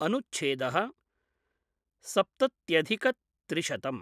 अनुच्छेद: सप्तत्यधिक त्रिशतम्